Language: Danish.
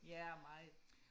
ja meget